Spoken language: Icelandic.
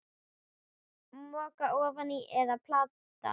Moka ofan í eða planta?